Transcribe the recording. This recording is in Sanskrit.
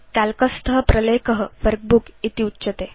काल्क स्थ प्रलेख वर्कबुक इति उच्यते